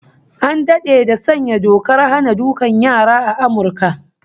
An dade da sanya dokar hana dukan yara a Amurka